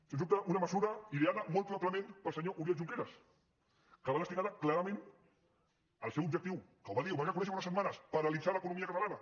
sens dubte una mesura ideada molt probablement pel senyor oriol junqueras que va destinada clarament al seu objectiu que ho va dir ho va reconèixer fa unes setmanes paralitzar l’economia catalana